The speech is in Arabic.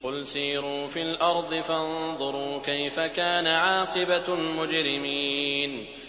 قُلْ سِيرُوا فِي الْأَرْضِ فَانظُرُوا كَيْفَ كَانَ عَاقِبَةُ الْمُجْرِمِينَ